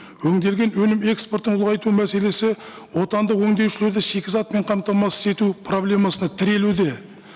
өнделген өнім экспортың ұлғайту мәселесі отандық өндеушілерді шикізатпен қамтамасыз ету проблемасына тірелуде